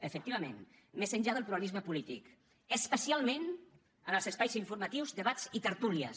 efectivament més enllà del pluralisme polític especialment en els espais informatius debats i tertúlies